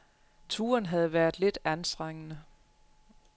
Turen havde været lidt anstrengende.